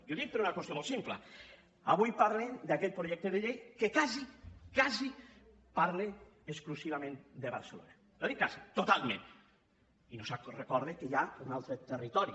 i ho dic per una qüestió molt simple avui parlen d’aquest projecte de llei que quasi quasi parla exclusivament de barcelona no dic quasi totalment i no es recorda que hi ha un altre territori